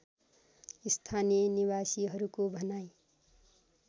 स्‍थानीय निवासीहरूको भनाइ